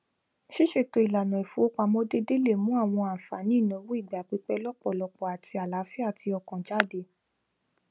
ṣíṣètò ìlànà ìfowópamọ déédéè lè mú àwọn àǹfààní ìnáwó ìgbà pípẹ lọpọlọpọ àti àlàáfíà ti ọkàn jáde